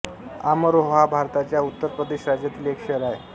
अमरोहा भारताच्या उत्तर प्रदेश राज्यातील एक शहर आहे